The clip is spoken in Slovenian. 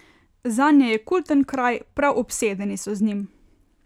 Zanje je kulten kraj, prav obsedeni so z njim.